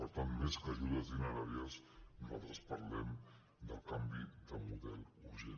per tant més que ajudes dineràries nosaltres parlem de canvi de model urgent